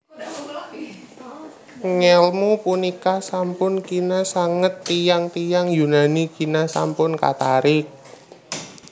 Ngèlmu punika sampun kina sanget tiyang tiyang Yunani kina sampun katarik